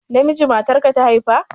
Namiji matarka ta haifa?